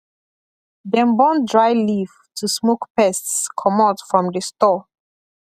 dem burn dry leaf to smoke pests comot from the store